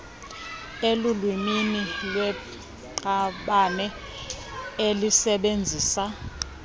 elulwimini lweqabane elisebenzisa